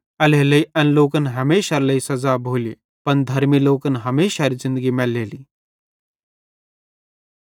एल्हेरेलेइ एन लोकन हमेशारे लेइ सज़ा भोली पन धर्मी लोकन हमेशारी ज़िन्दगी मैलेली